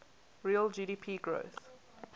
real gdp growth